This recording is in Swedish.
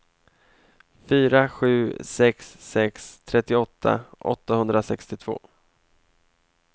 fyra sju sex sex trettioåtta åttahundrasextiotvå